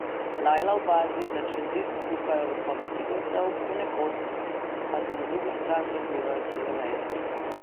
Lajla opazi, da čez zid kukajo vrhovi figovcev, ponekod pa se na drugo stran razlivajo cele veje.